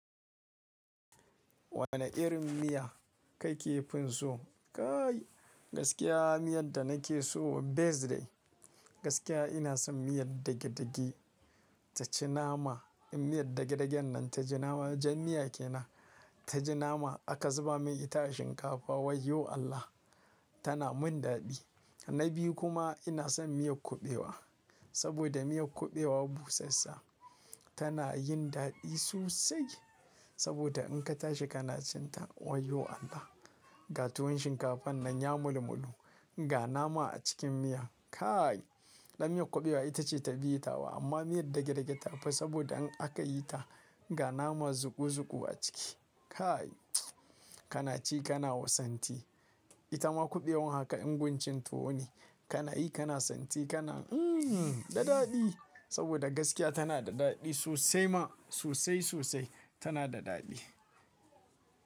Wane irin miya kai ke fin so? Kaai gaskiya miyan da na ke so best day, gaskiya ina son miyar dage-dage ta ci nama. In miyar dage-dagen nan ta ji nama jan miya ke nan. Ta ji nama aka zuba mai ita a shinkafa wai yo Allah! Tana mun daɗi. Na biyu kuma ina son miyar kuɓewa saboda miyar kuɓewa busasssa tana yin daɗi sosai saboda in ka tashi kana cinta wai yo Allah! Ga tuwon shinkafan nan ya mulu-mulu, ga nama a cikin miya kaai. Dan miyar kuɓewa ita ce ta biyu tawa amma miyar dage-dage ta fi saboda in aka yi ta, ga nama zuku-zuku a ciki kaai kana ci kana santi. Ita ma kuɓewar haka inguncin tuwo ne kana yi kana santi kana hmm dadadi saboda gaskiya tana da daɗi sosai ma sosai sosai tana da daɗi.